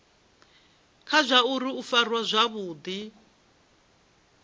kha zwauri u farwa zwavhudi